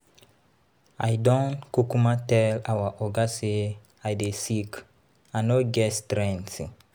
I don kukuma tell our Oga say I dey sick, I no get strength.